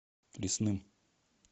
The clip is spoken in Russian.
лесным